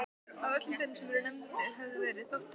Af öllum þeim sem nefndir höfðu verið þótti mér